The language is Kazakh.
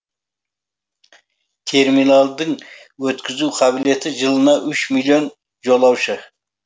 терминалдың өткізу қабілеті жылына үш миллион жолаушы